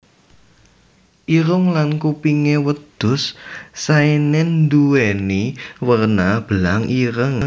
Irung lan kupingé wedhus Saenen nduwéni werna belang ireng